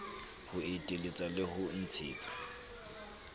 ho eteletsa le ho ntshetsa